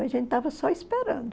A gente estava só esperando.